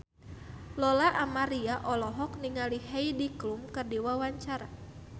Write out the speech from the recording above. Lola Amaria olohok ningali Heidi Klum keur diwawancara